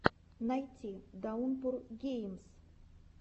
найти даунпур геймс